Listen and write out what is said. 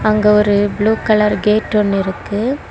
அங்க ஒரு blue colour gate ஒன்னு இருக்கு.